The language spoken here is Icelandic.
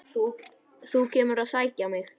Þú kemur að sækja mig.